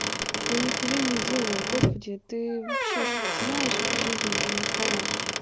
я ни хуя не делаю господи ты вообще что то знаешь в этой жизнь или не знаешь